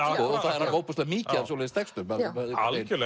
það er ofboðslega mikið af svoleiðis textum